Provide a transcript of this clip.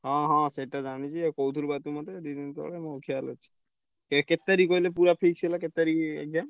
ହଁ ହଁ ସେଇଟା ଜାଣିଚି ଆଉ କହୁଥିଲୁ ବା ତୁ ମତେ ଦି ଦିନି ତଳେ ମୋର କ୍ଷାଲ ଅଛି। ଏ କେତେ ତାରିଖ୍ କହିଲେ ପୁରା fix ହେଲା କେତେ ତାରିଖ୍ exam ।